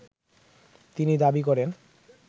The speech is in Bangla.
তিনি দাবি করেন